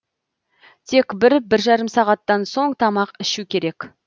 тек бір бір жарым сағаттан соң тамақ ішу керек